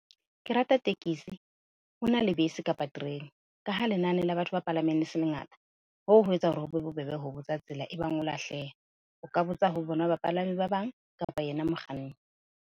Ke rata tekesi, ho na le bese kapa terene ka ha lenane la batho ba palameng le se lengata, hoo ho etsa hore ho be bobebe ho botsa tsela ebang o lahleha, o ka botsa ho bona bapalami ba bang kapa yena mokganni.